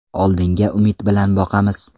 Oldinga umid bilan boqamiz.